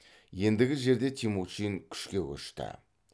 ендігі жерде темучин күшке көшті